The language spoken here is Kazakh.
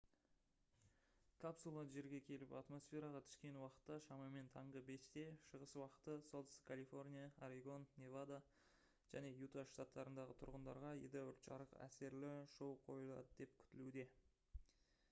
капсула жерге келіп атмосфераға түскен уақытта шамамен таңғы 5-те шығыс уақыты солтүстік калифорния орегон невада және юта штаттарындағы тұрғындарға едәуір жарық әсерлі шоу қойылады деп күтілуде